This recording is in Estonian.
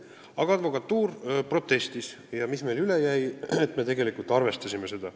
Aga advokatuur protestis ja mis meil üle jäi, nii et me arvestasime seda.